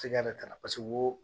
Tigɛ de ka na wo